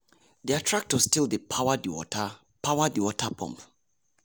their tractor still dey power the water power the water pump.